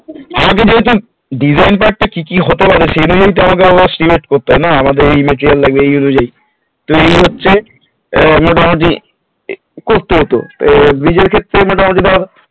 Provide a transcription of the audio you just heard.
আমাকে যেহেতু design part টা কি কি হতে পারে সেটা নিয়ে আমাদের আবার select করতে হয় না যে material এই লাগে সেই অনুজায়ী ত এই মুহুর্তে আমার এই করতে হত bridge এর ক্ষেত্রে তাহলে ধর